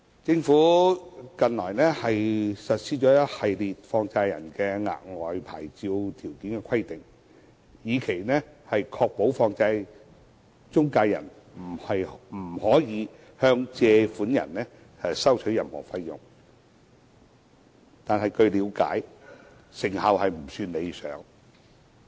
政府後來實施一系列有關放債人的額外牌照條件規定，以期確保放債中介人不可向借款人收取任何費用，但據了解，成效仍未算理想。